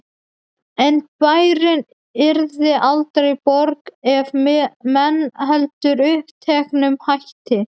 En bærinn yrði aldrei borg ef menn héldu uppteknum hætti.